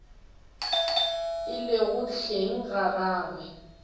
e lego hleng ga gagwe